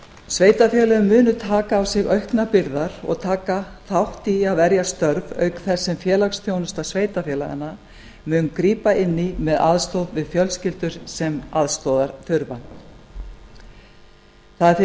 sveitarfélögin munu taka á sig auknar byrðar og taka þátt í að verja störf auk þess sem félagsþjónusta sveitarfélaganna mun grípa inn í með aðstoð við fjölskyldur sem aðstoðar þurfa það er því